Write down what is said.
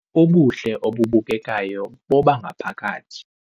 Ubuhle obubukekayo bobangaphakathi